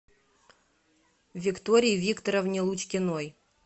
виктории викторовне лучкиной